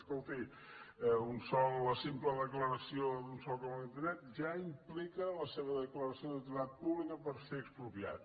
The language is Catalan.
escolti la simple declaració d’un sòl com a contaminat ja implica la seva declaració d’utilitat pública per ser expropiat